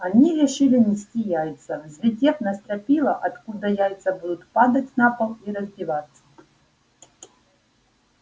они решили нести яйца взлетев на стропила откуда яйца будут падать на пол и раздеваться